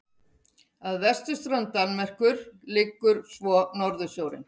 Að vesturströnd Danmerkur liggur svo Norðursjórinn.